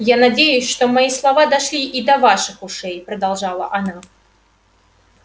я надеюсь что мои слова дошли и до ваших ушей продолжала она